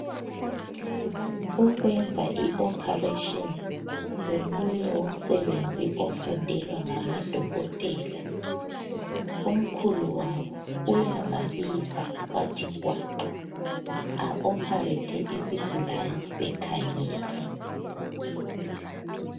Ukwenza i ophareshini ngomunye womsebenzi ofundelwa ngamadokotela , omkhulu wabo uyababiza bathi gwaqa a-opharethe isigulani besikhangele.